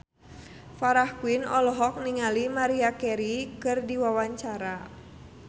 Farah Quinn olohok ningali Maria Carey keur diwawancara